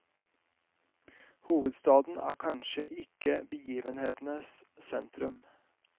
Hovedstaden er kanskje ikke begivenhetenes sentrum.